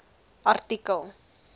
artikel